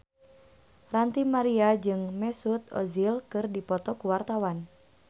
Ranty Maria jeung Mesut Ozil keur dipoto ku wartawan